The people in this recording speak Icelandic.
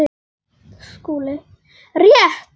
SKÚLI: Rétt!